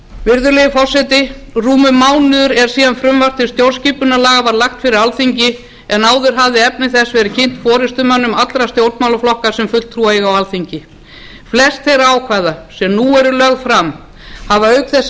virðulegi forseti rúmur mánuður er síðan frumvarp til stjórnarskipunarlaga var lagt fyrir alþingi en áður hafði efni þess verið kynnt forustumönnum allra stjórnmálaflokka sem fulltrúa eiga á alþingi flest þeirra ákvæða sem nú eru lögð fram hafa auk